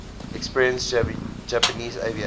experienced japanese aviators